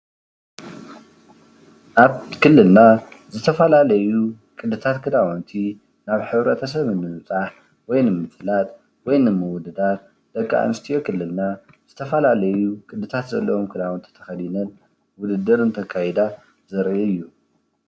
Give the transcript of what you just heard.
አብ ክልልና ዝተፈላለዩ ቅድታት ክዳውንቲ ናብ ሕብረተሰብ ንምብፃሕ ወይ ድማ ንምፍላጥ ወይ ንምውፋር ደቂ አንስትዮ ክልልና ዝተፈላለዩ ቅድታት ዘለዎም ክዳውንቲ ተከዲነን አካይዳ ዘርኢ እዩ።